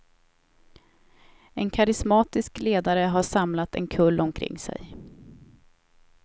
En karismatisk ledare har samlat en kull omkring sig.